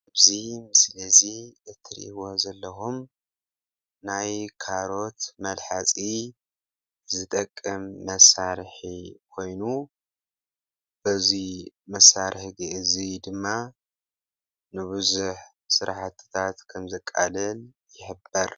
እዚ ምስሊ እዚ እትረእይዎ ዘለኹም ናይ ካሮት መልሐፂ ዝጠቅም ምሳርሒ ኮይኑ እዚ መሳርሒ እዚ ድማ ንቡዙሕ ስራሕትታት ከም ዘቃልል ይሕብር።